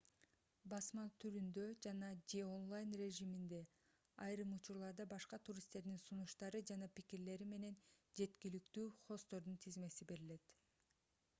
басма түрүндө жана/же онлайн режиминде айрым учурларда башка туристтердин сунуштары жана пикирлери менен жеткиликтүү хосттордун тизмеси берилет